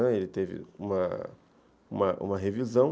Ele teve uma uma revisão.